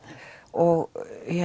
og